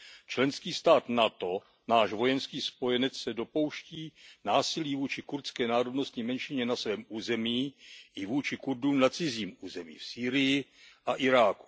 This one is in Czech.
Členský stát NATO, náš vojenský spojenec, se dopouští násilí vůči kurdské národnostní menšině na svém území i vůči Kurdům na cizím území, v Sýrii a Iráku.